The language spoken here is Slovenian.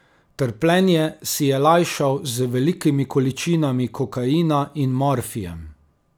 Trpljenje si je lajšal z velikimi količinami kokaina in morfijem.